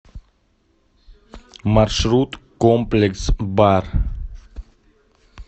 маршрут комплекс бар